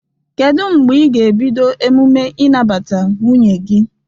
Kedu mgbe ị ga-ebido emume inabata nwunnye gi?